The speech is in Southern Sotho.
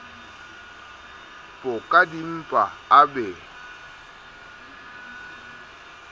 po ka dimpa a be